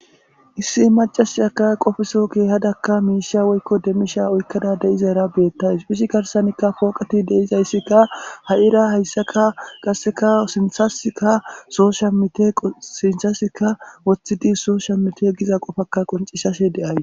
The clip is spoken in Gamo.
Issi macasiyaka qofeso keehadakka miisha woykko demmisha oykkada de iza era beettays phishi garsanikka pooqati deizayssikka ha'ira hayssaka qasseka sinthasika soo shamite sinshasika woththidi soo shamite giza qofakka qoncishase deays.